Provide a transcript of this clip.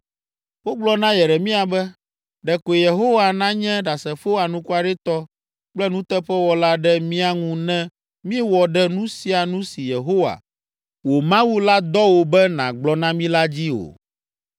Wogblɔ na Yeremia be, “Ɖekoe Yehowa nanye ɖasefo anukwaretɔ kple nuteƒewɔla ɖe mía ŋu ne míewɔ ɖe nu sia nu si Yehowa, wò Mawu la dɔ wò be nàgblɔ na mí la dzi o.